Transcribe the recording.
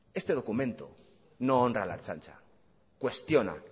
este documento no honra a la ertzaintza cuestiona